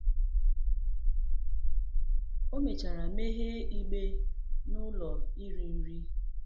O mechara meghee igbe n’ụlọ iri nri.